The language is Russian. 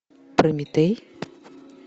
прометей